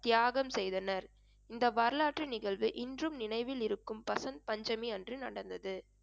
தியாகம் செய்தனர் இந்த வரலாற்று நிகழ்வு இன்றும் நினைவில் இருக்கும் பசந்த் பஞ்சமி அன்று நடந்தது